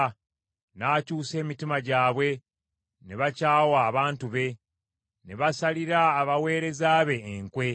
n’akyusa emitima gyabwe ne bakyawa abantu be, ne basalira abaweereza be enkwe.